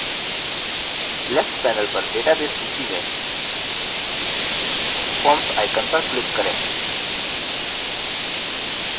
left panel पर database सूची में forms icon पर click करें